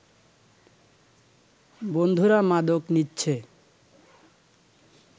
বন্ধুরা মাদক নিচ্ছে